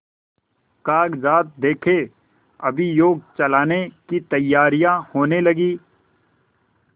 कागजात देखें अभियोग चलाने की तैयारियॉँ होने लगीं